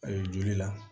A ye joli la